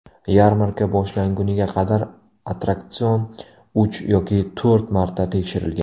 Yarmarka boshlanguniga qadar attraksion uch yoki to‘rt marta tekshirilgan.